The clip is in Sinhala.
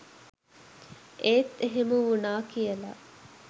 ඒත් එහෙම වුණා කියලා